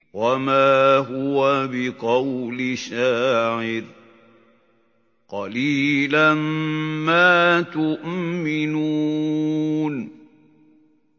وَمَا هُوَ بِقَوْلِ شَاعِرٍ ۚ قَلِيلًا مَّا تُؤْمِنُونَ